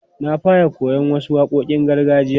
Na fara koyon wasu waƙoƙin gargajiya.